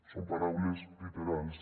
són paraules literals